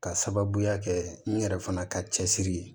Ka sababuya kɛ n yɛrɛ fana ka cɛsiri ye